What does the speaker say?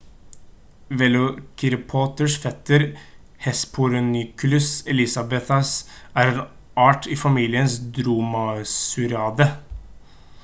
velociraptors fetter hesperonychus elizabethae er en art i familien dromaeosauridae